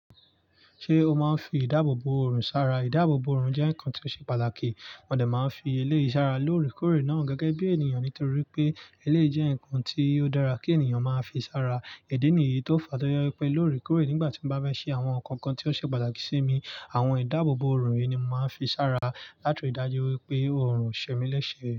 Ṣé o máa ń fi ìdáàbòbò ọrùn sára? Ìdáàbòbò ọrùn jẹ́ ǹkan tí ó ṣe pàtàkì. Mọ dẹ̀ máa ń fi eléyìí sára lóòrèkóòrè náà gẹ́gẹ́ bí ènìyàn, nítorí pé eléyìí jẹ́ ǹkan tí ó dára kí ènìyàn máa fi sára. Ìdí nìyí tó fa tọjẹ wipẹ́ lóòrèkóòrè nígbà tí mo bá bá ṣe àwọn ǹkan kan tí ó ṣe pàtàkì sí mi, àwọn ìdáàbòbò ọrùn yìí ni màá fi sára láti ri i dájú wípé ọrùn ṣemi léṣe.